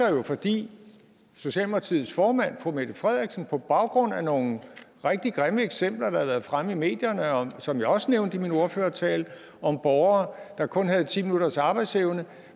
fordi socialdemokratiets formand fru mette frederiksen på baggrund af nogle rigtig grimme eksempler der har været fremme i medierne og som jeg også nævnte i min ordførertale om borgere der kun havde ti minutters arbejdsevne